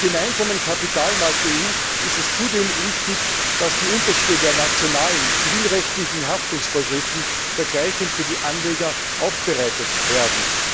Im gemeinsamen Kapitalmarkt der EU ist es zudem wichtig, dass die Unterschiede der nationalen zivilrechtlichen Haftungsvorschriften vergleichend für die Anleger aufbereitet werden.